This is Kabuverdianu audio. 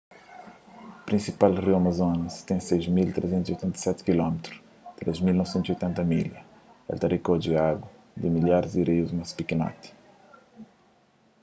prinsipal riu amazonas ten 6.387 km 3.980 milhas. el ta rikodje agu di milharis di rius más pikinoti